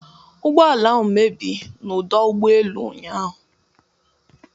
Ụgbọ ala ahụ mebi a n'ọdụ ụgbọ elu ụnyahụ